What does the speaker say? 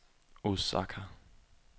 Osaka